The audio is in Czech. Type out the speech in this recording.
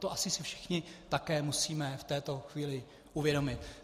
To asi si všichni také musíme v této chvíli uvědomit.